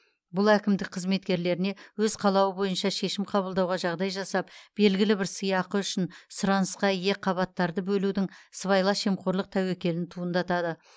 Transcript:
бұл әкімдік қызметкерлеріне өз қалауы бойынша шешім қабылдауға жағдай жасап белгілі бір сыйақы үшін сұранысқа ие қабаттарды бөлудің сыбайлас жемқорлық тәуекелін туындатады